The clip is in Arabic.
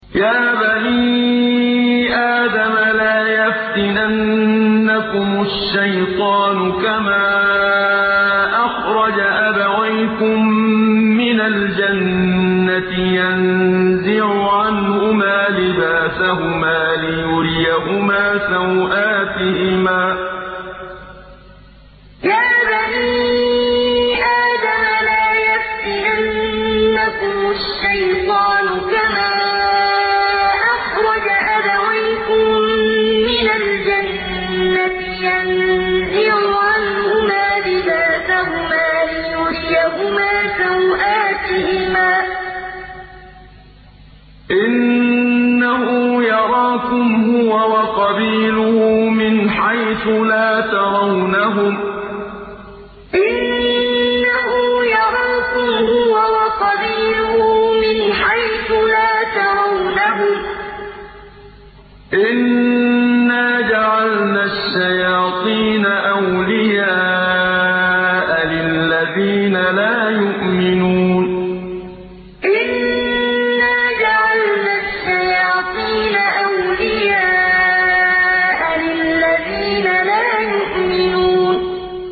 يَا بَنِي آدَمَ لَا يَفْتِنَنَّكُمُ الشَّيْطَانُ كَمَا أَخْرَجَ أَبَوَيْكُم مِّنَ الْجَنَّةِ يَنزِعُ عَنْهُمَا لِبَاسَهُمَا لِيُرِيَهُمَا سَوْآتِهِمَا ۗ إِنَّهُ يَرَاكُمْ هُوَ وَقَبِيلُهُ مِنْ حَيْثُ لَا تَرَوْنَهُمْ ۗ إِنَّا جَعَلْنَا الشَّيَاطِينَ أَوْلِيَاءَ لِلَّذِينَ لَا يُؤْمِنُونَ يَا بَنِي آدَمَ لَا يَفْتِنَنَّكُمُ الشَّيْطَانُ كَمَا أَخْرَجَ أَبَوَيْكُم مِّنَ الْجَنَّةِ يَنزِعُ عَنْهُمَا لِبَاسَهُمَا لِيُرِيَهُمَا سَوْآتِهِمَا ۗ إِنَّهُ يَرَاكُمْ هُوَ وَقَبِيلُهُ مِنْ حَيْثُ لَا تَرَوْنَهُمْ ۗ إِنَّا جَعَلْنَا الشَّيَاطِينَ أَوْلِيَاءَ لِلَّذِينَ لَا يُؤْمِنُونَ